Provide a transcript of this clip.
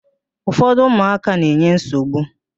Ufọdụ ụmụaka na-enye nsogbu.